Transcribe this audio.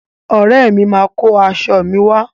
Ọ̀rẹ́ mi máa kó aṣọ mi wá.